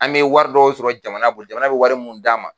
An be wari dɔw sɔrɔ jamana bolo jamana be wari mun d'an ma